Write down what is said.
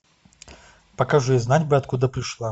покажи знать бы откуда пришла